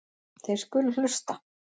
Þeir skulu hlusta.